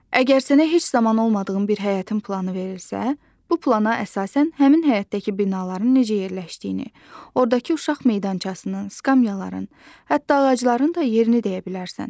Əgər sənə heç zaman olmadığım bir həyətin planı verilirsə, bu plana əsasən həmin həyətdəki binaların necə yerləşdiyini, ordakı uşaq meydançasının, skamyaların, hətta ağacların da yerini deyə bilərsən.